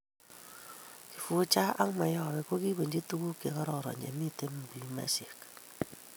kifuja ak mayowe ko kibunji tuguk che kororon che mito milimesheck